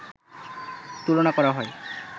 তুলনা করা হয়